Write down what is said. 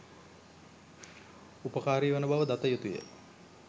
උපකාරී වන බව දත යුතුය.